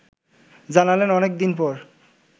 জানালেন অনেক দিন পর